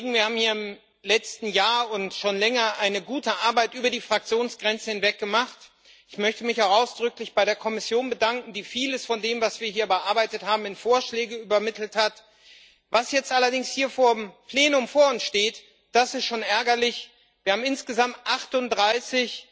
Herr Präsident, liebe Kolleginnen und Kollegen! Wir haben hier im letzten Jahr und schon länger eine gute Arbeit über die Fraktionsgrenzen hinweg gemacht. Ich möchte mich ausdrücklich bei der Kommission bedanken, die vieles von dem, was wir hier bearbeitet haben, in Vorschläge übernommen hat. Was jetzt allerdings hier im Plenum vor unsliegt, das ist schon ärgerlich Wir haben insgesamt 38